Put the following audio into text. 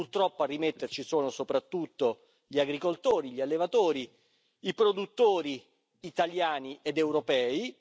Purtroppo a rimetterci sono soprattutto gli agricoltori, gli allevatori, i produttori italiani ed europei.